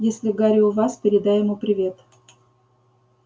если гарри у вас передай ему привет